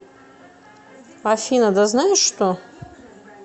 афина да знаешь что